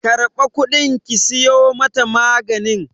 Karba kudin ki siyo mata maganin!